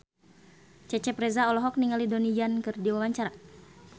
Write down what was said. Cecep Reza olohok ningali Donnie Yan keur diwawancara